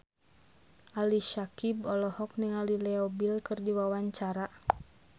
Ali Syakieb olohok ningali Leo Bill keur diwawancara